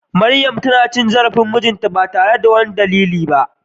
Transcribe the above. Maryam tana cin zarafin mijinta ba tare da wani dalili ba.